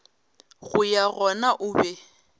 go ya gona o be